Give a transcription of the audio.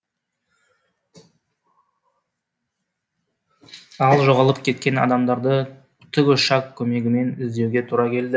ал жоғалып кеткен адамдарды тікұшақ көмегімен іздеуге тура келді